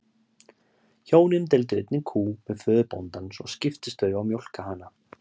Hjónin deildu einni kú með föður bóndans og skiptust þau á að mjólka hana.